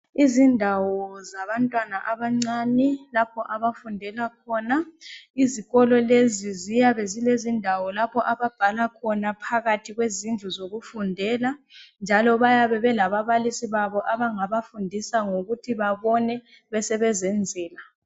Izindawo zabantwana abancane lapha abafundela khona. Izikolo lezi ziyabe zilezindawo lapha ababhala khona phakathi kwezindlu zokufundela njalo bayabe belababalisi babo abangabafundisa ukuthi bebone besebezenzela.